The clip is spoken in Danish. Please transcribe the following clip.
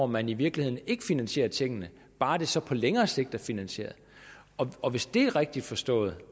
man i virkeligheden ikke finansierer tingene bare det så på længere sigt er finansieret og hvis det er rigtigt forstået